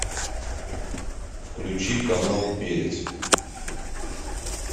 включи канал перец